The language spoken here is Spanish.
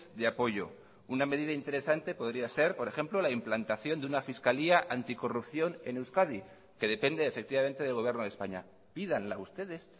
de apoyo una medida interesante podría ser por ejemplo la implantación de una fiscalía anticorrupción en euskadi que depende efectivamente del gobierno de españa pídanla ustedes